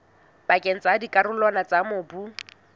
pakeng tsa dikarolwana tsa mobu